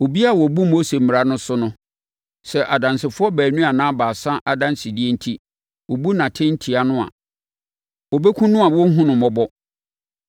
Obiara a ɔbu Mose Mmara no so no, sɛ adansefoɔ baanu anaa baasa adansedie enti, wɔbu atɛn tia no a, wɔbɛkum no a wɔrenhunu no mmɔbɔ.